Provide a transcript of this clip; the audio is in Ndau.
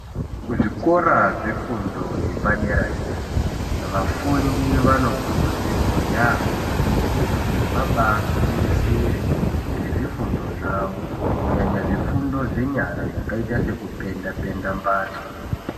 Kuzvikora zvefundo yepadera Dera vafundi vanokurudzirwa yambo kuti vabagwinyisire ngezvifundo zvavo kunyanya zvifundo zvenyara zvakaita sekupenda penda mbatso.